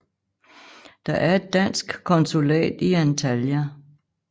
Der er et dansk konsulat i Antalya